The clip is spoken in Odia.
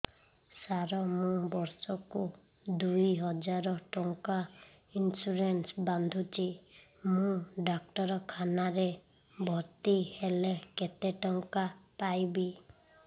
ସାର ମୁ ବର୍ଷ କୁ ଦୁଇ ହଜାର ଟଙ୍କା ଇନ୍ସୁରେନ୍ସ ବାନ୍ଧୁଛି ମୁ ଡାକ୍ତରଖାନା ରେ ଭର୍ତ୍ତିହେଲେ କେତେଟଙ୍କା ପାଇବି